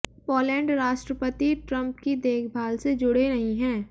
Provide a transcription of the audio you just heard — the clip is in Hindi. पोलैंड राष्ट्रपति ट्रंप की देखभाल से जुड़े नहीं हैं